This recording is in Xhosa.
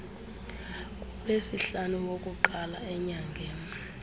kulwesihlanu wokuqala enyangeni